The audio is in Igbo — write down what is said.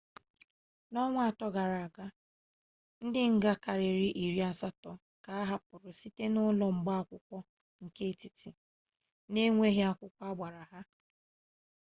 n'ọnwa ato gara-aga ndi nga karịrị iri asatọ ka a hapụrụ site n'ụlọ mgba akwụkwọ nke etiti n'enweghị akwụkwọ agbara ha